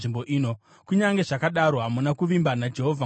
Kunyange zvakadaro, hamuna kuvimba naJehovha Mwari wenyu,